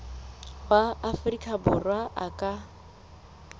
wa afrika borwa a ka